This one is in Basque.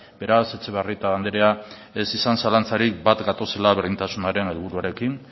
beraz etxebarrieta andrea ez izan zalantzarik bat gatozela berdintasunaren helburuarekin